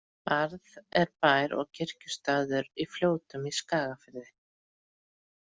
Barð er bær og kirkjustaður í Fljótum í Skagafirði.